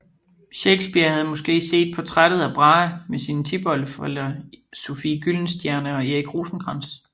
Shakespeare havde måske set portrættet af Brahe med sine tipoldeforældre Sophie Gyldenstierne og Erik Rosenkrantz